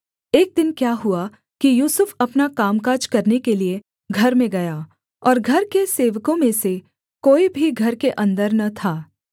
एक दिन क्या हुआ कि यूसुफ अपना कामकाज करने के लिये घर में गया और घर के सेवकों में से कोई भी घर के अन्दर न था